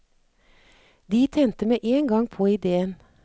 De tente med en gang på idéen.